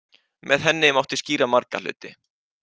Með henni mátti skýra marga hluti.